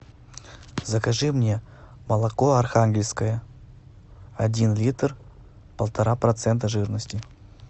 закажи мне молоко архангельское один литр полтора процента жирности